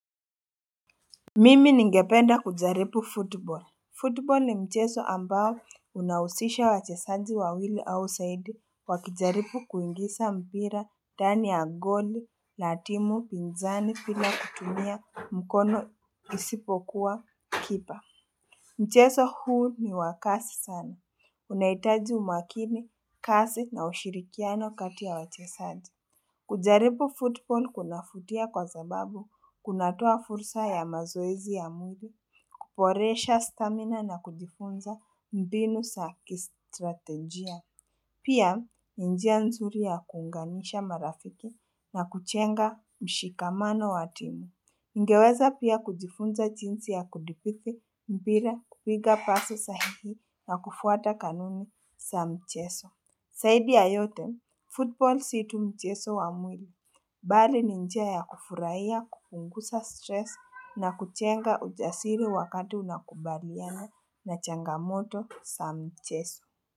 Mimi ningependa kujaripu football Football ni mcheso ambayo unausisha wachesaji wawili au saidi wakijaripu kuingisa mpira dani ya goli, la timu, pinzani pila kutumia mkono isipokuwa kipa Mcheso huu ni wa kasi sana, unaitaji umakini kasi na ushirikiano kati ya wachesaji Kujaripu football kunafutia kwa zababu kunatoa fursa ya mazoezi ya mwili, kuporesha stamina na kujifunza mbinu sa kistratejia. Pia, ni njia nzuri ya kuunganisha marafiki na kuchenga mshikamano wa timu. Ningeweza pia kujifunza chinsi ya kudipithi mpira kupiga pasi sahihi na kufuata kanuni sa mcheso. Saidi ya yote, football si tu mcheso wa mwili, bari ni njia ya kufurahia kupungusa stress na kuchenga ujasiri wakati unakubaliana na changamoto sa mcheso.